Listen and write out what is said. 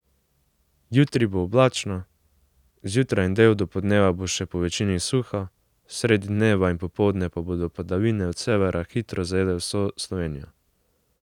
Jutri bo oblačno, zjutraj in del dopoldneva bo še povečini suho, sredi dneva in popoldne pa bodo padavine od severa hitro zajele vso Slovenijo.